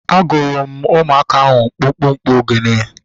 A gụrụ m ụmụaka ahu mkpụmkpụ ogene